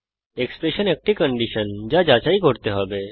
expression একটি condition যা যাচাই করতে হবে